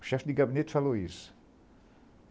O chefe de gabinete falou isso.